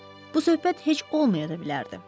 Bu söhbət heç olmayan da bilərdi.